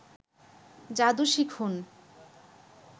যাদু শিখুন